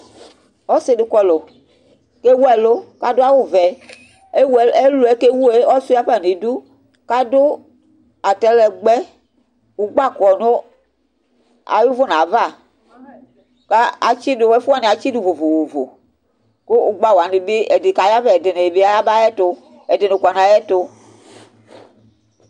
ɔse di kɔlu k'ewu elu k'ado awu vɛ ewu ɛluɛ k'ewue ɔsua fa n'idu k'ado atalɛgbɛ ugba kɔ no ayi uvuna ava k'atsi du ɛfu wani atsi do vovovo kò ugba wani bi ɛdi ka yavɛ ɛdini yaba ayɛto ɛdini kɔ n'ayɛto